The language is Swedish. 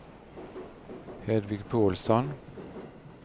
Hedvig Pålsson